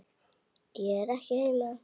Ég er ekki heima.